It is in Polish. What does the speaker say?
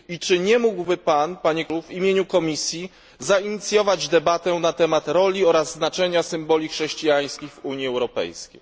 Czy nie mógłby pan w imieniu Komisji zainicjować debaty na temat roli oraz znaczenia symboli chrześcijańskich w Unii Europejskiej?